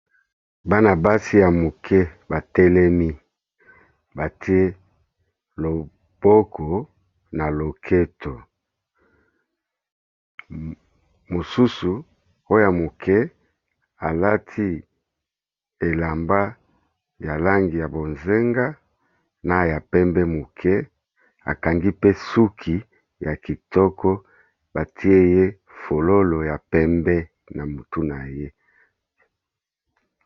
Bana basi ya moke batélemi batié loboko na loketo, mosusu oyo moke alati élamba ya langi ya bozenga na ya pembé moke akangi pe suki ya kitoko batié ye fololo ya pembé na motu na ye.